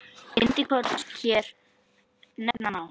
Bindi korns hér nefna má.